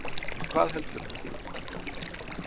En hvað heldurðu?